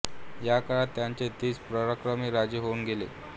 या काळात त्यांचे तीस पराक्रमी राजे होऊन गेले